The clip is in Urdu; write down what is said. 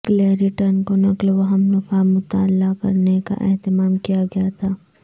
گیلریٹن کو نقل و حمل کا مطالعہ کرنے کا اہتمام کیا گیا تھا